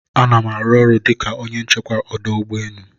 Anam aru ọrụ onye nchekwa ọdụ ụgbọ enu